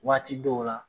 Waati dɔw la